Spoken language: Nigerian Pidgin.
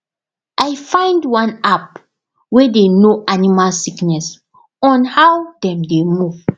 i find one app wey dey know animal sickness on how dem dey move